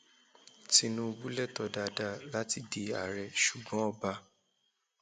tinúbù lẹtọọ dáadáa láti di àárẹ ṣùgbọn ọba